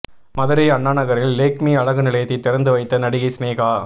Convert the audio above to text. மதுரை அண்ணாநகரில் லேக்மி அழகு நிலையத்தை திறந்து வைத்த நடிகை சினேகா